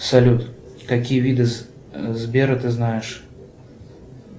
салют какие виды сбера ты знаешь